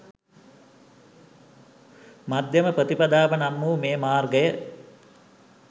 මධ්‍යම ප්‍රතිපදාව නම් වූ මේ මාර්ගය